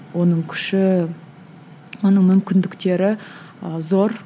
оның күші оның мүмкіндіктері ы зор